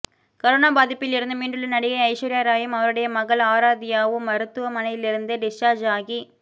corona பாதிப்பிலிருந்து மீண்டுள்ள நடிகை ஐஸ்வர்யா ராயும் அவருடைய மகள் ஆராத்யாவும் மருத்துவமனையிலிருந்து டிஸ்சார்ஜ் ஆகி